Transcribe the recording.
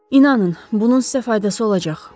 İnanın, bunun sizə faydası olacaq.